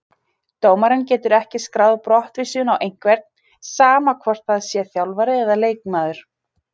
Dómarinn getur ekki skráð brottvísun á einhvern, sama hvort það sé þjálfari eða leikmaður.